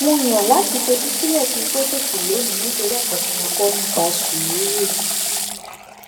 mo yàn láti fetí sílè kí n tó fèsì lónìí nítorí èkó tí mo kó nípa sùúrù